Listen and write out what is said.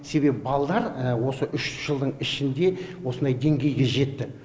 себебі балалар осы үш жылдың ішінде осындай деңгейге жетті